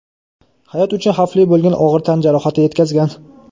hayot uchun xavfli bo‘lgan og‘ir tan jarohati yetkazgan.